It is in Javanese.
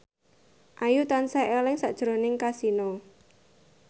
Ayu tansah eling sakjroning Kasino